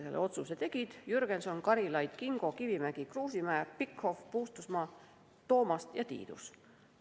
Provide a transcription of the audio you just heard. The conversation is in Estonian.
Need otsused tegid Jürgenson, Karilaid, Kingo, Kivimägi, Kruusimäe, Pikhof, Puustusmaa, Toomast ja Tiidus.